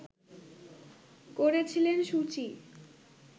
করেছিলেন সু চি